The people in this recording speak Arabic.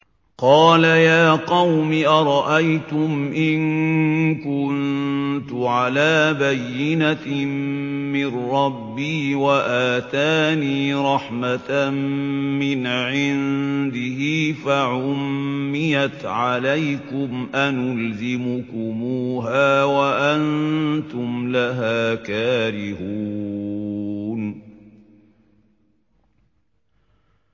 قَالَ يَا قَوْمِ أَرَأَيْتُمْ إِن كُنتُ عَلَىٰ بَيِّنَةٍ مِّن رَّبِّي وَآتَانِي رَحْمَةً مِّنْ عِندِهِ فَعُمِّيَتْ عَلَيْكُمْ أَنُلْزِمُكُمُوهَا وَأَنتُمْ لَهَا كَارِهُونَ